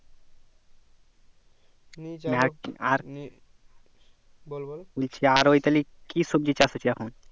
আর বল বল নিচে যা আছে কি সবজি চাষ হচ্ছে এখন